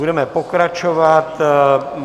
Budeme pokračovat.